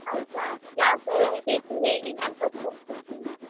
ಹೌದಾ ಯಾವ ತರ ಬೇಕು ಹೇಳಿ ನಾನು ಕೊಡ್ತೇನೆ idea ನಿಮಗೆ.